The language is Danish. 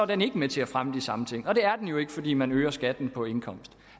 den ikke med til at fremme de samme ting og det er den jo ikke fordi man øger skatten på indkomst